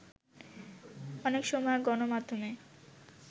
অনেক সময় গণমাধ্যমে